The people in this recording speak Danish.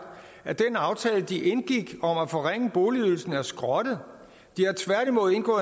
at den aftale de indgik om at forringe boligydelsen er skrottet de